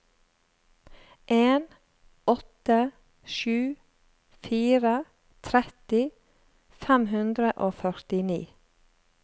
en åtte sju fire tretti fem hundre og førtini